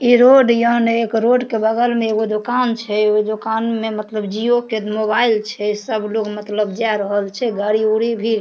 इ रोड यहां ने एक रोड के बगल में एगो दोकान छै ओय दोकान में मतलब जिओ के मोबाइल छै सब लोग मतलब जाय रहल छै गाड़ी उड़ी भी --